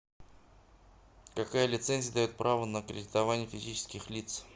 какая лицензия дает право на кредитование физических лиц